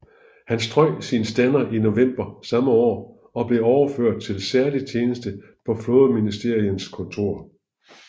Han strøg sin stander i november samme år og blev overført til særlig tjeneste på flådeministerens kontor